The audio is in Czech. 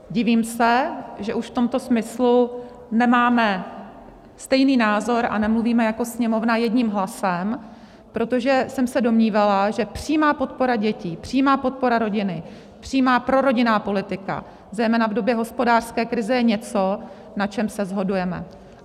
Divím se, že už v tomto smyslu nemáme stejný názor a nemluvíme jako Sněmovna jedním hlasem, protože jsem se domnívala, že přímá podpora dětí, přímá podpora rodiny, přímá prorodinná politika, zejména v době hospodářské krize, je něco, na čem se shodujeme.